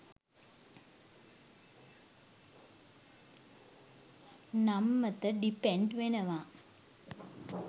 නම්මත depend වෙනවා